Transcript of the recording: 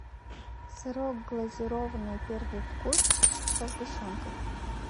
сырок глазированный первый вкус со сгущенкой